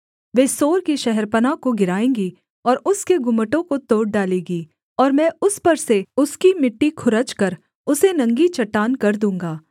वे सोर की शहरपनाह को गिराएँगी और उसके गुम्मटों को तोड़ डालेगी और मैं उस पर से उसकी मिट्टी खुरचकर उसे नंगी चट्टान कर दूँगा